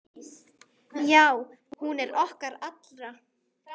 Já, hún er okkar allra.